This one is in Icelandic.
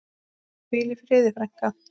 Hvíl í friði, frænka.